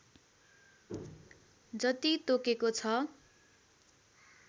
जति तोकेको छ